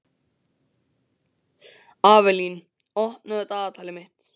Avelín, opnaðu dagatalið mitt.